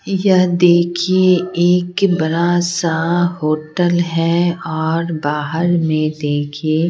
यह देखिए एक बरा सा होटल है और बाहर में देखिए--